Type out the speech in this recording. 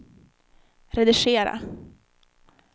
redigera